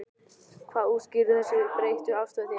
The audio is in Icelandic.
Hvað útskýrir þessa breyttu afstöðu þína?